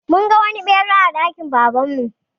Mun ga wani ɓera a dakin Baban mu.